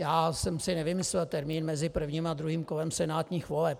Já jsem si nevymyslel termín mezi prvním a druhým kolem senátních voleb.